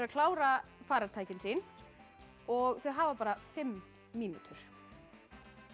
klára farartækin sín og þau hafa bara fimm mínútur